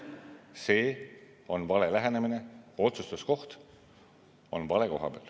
See on vale lähenemine, otsustuskoht on vale koha peal.